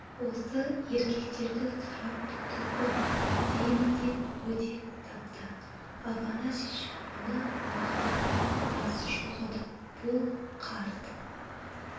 осы еркектерді сұрап тұр ғой деймін деп өдек тапты афанасьич оны мақұлдап бас шұлғыды бұл қарт